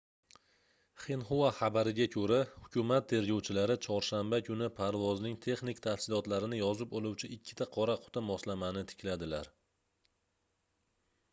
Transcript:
xinhua xabariga koʻra hukumat tergovchilari chorshanba kuni parvozning texnik tafsilotlarini yozib oluvchi ikkita qora quti moslamani tikladilar